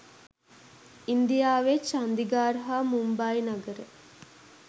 ඉන්දියාවේ චන්දිගාර් හා මුම්බායි නගර